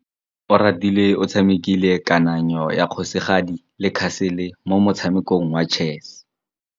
Oratile o tshamekile kananyô ya kgosigadi le khasêlê mo motshamekong wa chess.